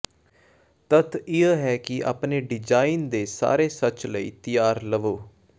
ਤੱਥ ਇਹ ਹੈ ਕਿ ਆਪਣੇ ਡਿਜ਼ਾਈਨ ਦੇ ਸਾਰੇ ਸੱਚ ਲਈ ਤਿਆਰ ਲਵੋ